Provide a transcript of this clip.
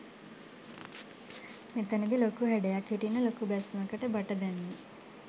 මෙතනදී ලොකු හැඩයක් හිටින්න ලොකු බැස්මකට බට දැම්මේ.